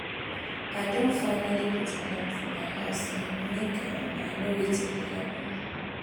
I don finally put alarm for my house um make um I know wetin dey happen.